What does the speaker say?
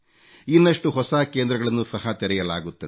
ಇನ್ನಷ್ಟು ಹೊಸ ಕೇಂದ್ರಗಳನ್ನೂ ಸಹ ತೆರೆಯಲಾಗುತ್ತಿದೆ